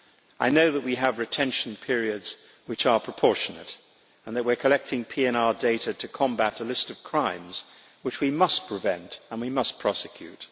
I know that we have retention periods which are proportionate and that we are collecting PNR data to combat a list of crimes which we must prevent and prosecute.